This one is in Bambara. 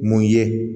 Mun ye